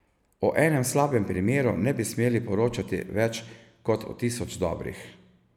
O enem slabem primeru ne bi smeli poročati več kot o tisoč dobrih.